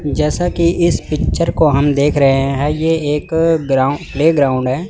जैसा कि इस पिक्चर को हम देख रहे हैं ये एक ग्राउंड प्लेग्राउंड है।